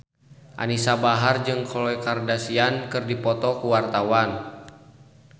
Anisa Bahar jeung Khloe Kardashian keur dipoto ku wartawan